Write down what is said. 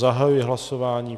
Zahajuji hlasování.